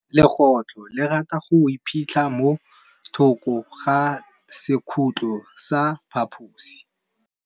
Legôtlô le rata go iphitlha mo thokô ga sekhutlo sa phaposi.